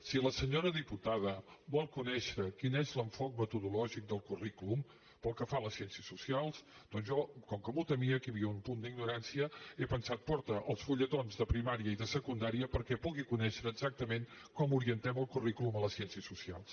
si la senyora diputada vol conèixer quin és l’enfocament metodològic del currículum pel que fa a les ciències socials doncs jo com que m’ho temia que hi havia un punt d’ignorància he pensat porta els fulletons de primària i de secundària perquè puguin conèixer exactament com orientem el currículum a les ciències socials